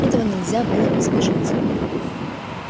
этого нельзя было избежать